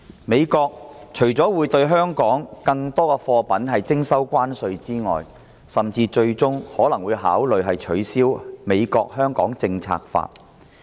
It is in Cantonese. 美國除了會對中國更多貨品徵收關稅外，最終甚至可能會考慮取消其《香港政策法》。